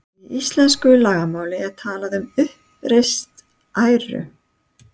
Í íslensku lagamáli er talað um uppreist æru.